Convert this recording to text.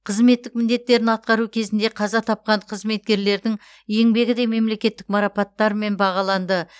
қызметтік міндеттерін атқару кезінде қаза тапқан қызметкерлердің еңбегі де мемлекеттік марапаттармен бағаланды